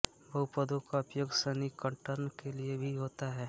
बहुपदों का उपयोग संनिकटन के लिए भी होता है